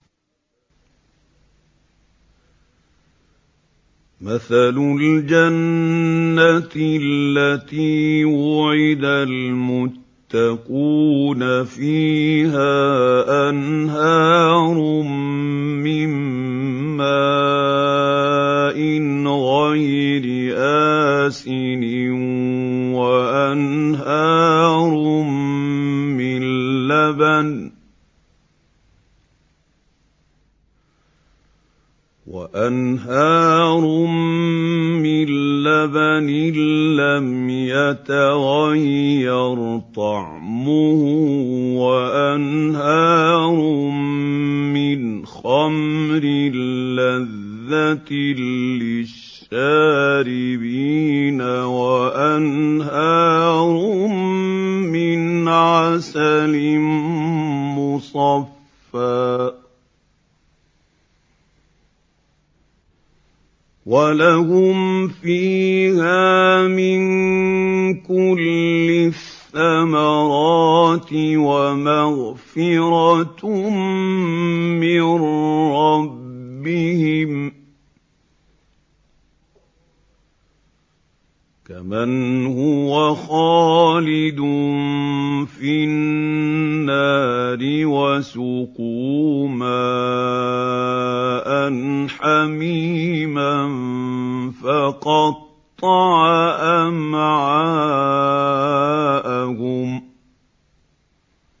مَّثَلُ الْجَنَّةِ الَّتِي وُعِدَ الْمُتَّقُونَ ۖ فِيهَا أَنْهَارٌ مِّن مَّاءٍ غَيْرِ آسِنٍ وَأَنْهَارٌ مِّن لَّبَنٍ لَّمْ يَتَغَيَّرْ طَعْمُهُ وَأَنْهَارٌ مِّنْ خَمْرٍ لَّذَّةٍ لِّلشَّارِبِينَ وَأَنْهَارٌ مِّنْ عَسَلٍ مُّصَفًّى ۖ وَلَهُمْ فِيهَا مِن كُلِّ الثَّمَرَاتِ وَمَغْفِرَةٌ مِّن رَّبِّهِمْ ۖ كَمَنْ هُوَ خَالِدٌ فِي النَّارِ وَسُقُوا مَاءً حَمِيمًا فَقَطَّعَ أَمْعَاءَهُمْ